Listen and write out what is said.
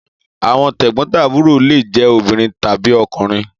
Àwọn tẹ̀gbón-tàbúrò lé je obìrin tàbí okùnrin